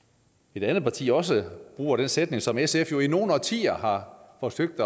et andet parti også bruger den sætning som sf jo i nogle årtier har forsøgt